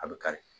A bɛ kari